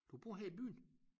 Du bor her i byen?